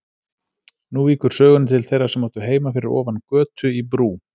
Nú víkur sögunni til þeirra sem áttu heima fyrir ofan götu, í Brú.